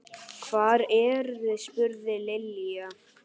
Hvar eruð þið? spurði Lilla.